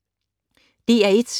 DR1